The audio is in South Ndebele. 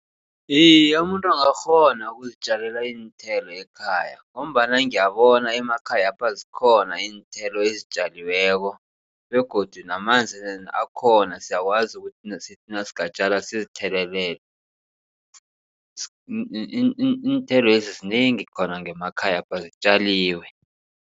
Iye, umuntu angakghona ukuzitjalela iinthelo ekhaya. Ngombana ngiyabona emakhayapha zikhona iinthelo ezitjaliweko begodu namanzi akhona siyakwazi ukuthi nasingatjala sizithelelele. Iinthelo lezi zinengi khona ngemakhayapha zitjaliwe.